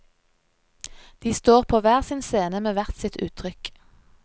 De står på hver sin scene med hvert sitt uttrykk.